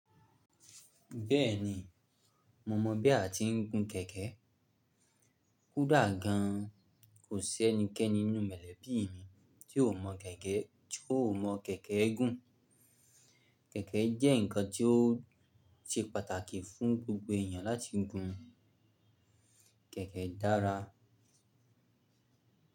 Bẹ́ẹ̀ni, mo mọ̀ bí a ti ń gun kẹ̀kẹ́. Kódà gan, kò sí ẹnikẹ́ni nínú mọ̀lẹ́bí mi tí ò mọ̀ kẹ̀kẹ́, tí ò mọ̀ kẹ̀kẹ́ gùn. Kẹ̀kẹ́ jẹ́ ǹkan tí ó ṣe pàtàkì fún gbogbo ènìyàn láti gun. Kẹ̀kẹ́ dára.